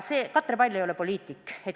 Katre Pall ei ole poliitik.